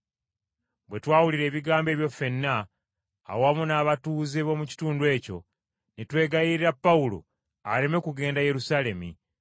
Bwe twawulira ebigambo ebyo ffenna awamu n’abatuuze b’omu kitundu ekyo ne twegayirira Pawulo aleme kugenda Yerusaalemi.